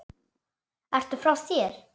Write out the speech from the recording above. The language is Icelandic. Ertu frá þér!?